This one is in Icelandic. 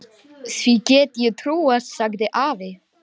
Því get ég trúað, sagði afi.